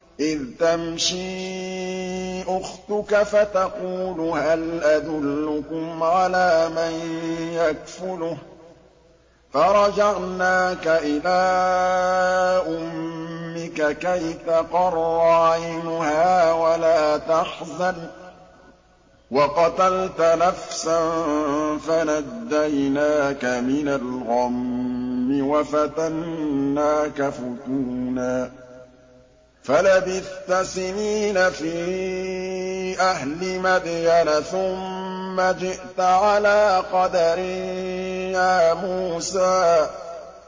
إِذْ تَمْشِي أُخْتُكَ فَتَقُولُ هَلْ أَدُلُّكُمْ عَلَىٰ مَن يَكْفُلُهُ ۖ فَرَجَعْنَاكَ إِلَىٰ أُمِّكَ كَيْ تَقَرَّ عَيْنُهَا وَلَا تَحْزَنَ ۚ وَقَتَلْتَ نَفْسًا فَنَجَّيْنَاكَ مِنَ الْغَمِّ وَفَتَنَّاكَ فُتُونًا ۚ فَلَبِثْتَ سِنِينَ فِي أَهْلِ مَدْيَنَ ثُمَّ جِئْتَ عَلَىٰ قَدَرٍ يَا مُوسَىٰ